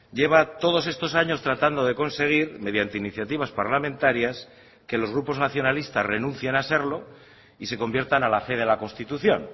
lleva todos estos años tratando de conseguir mediante iniciativas parlamentarias que los grupos nacionalistas renuncian a serlo y se conviertan a la fe de la constitución